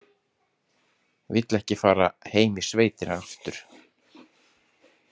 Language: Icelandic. Vill ekki fara heim í sveitina aftur.